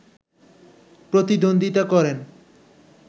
প্রতিদ্বন্দ্বিতা করেন